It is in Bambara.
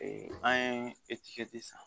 an ye san